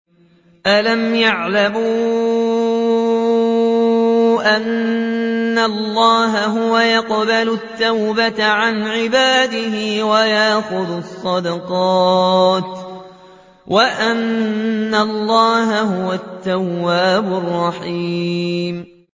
أَلَمْ يَعْلَمُوا أَنَّ اللَّهَ هُوَ يَقْبَلُ التَّوْبَةَ عَنْ عِبَادِهِ وَيَأْخُذُ الصَّدَقَاتِ وَأَنَّ اللَّهَ هُوَ التَّوَّابُ الرَّحِيمُ